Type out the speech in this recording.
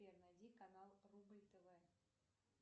сбер найди канал рубль тв